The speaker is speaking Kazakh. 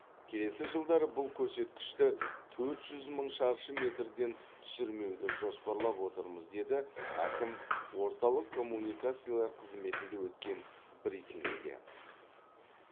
келесі жылдары бұл көрсеткішті төрт жүз мың шаршы метрден түсірмеуді жоспарлап отырмыз деді әкім орталық коммуникациялар қызметінде өткен брифингте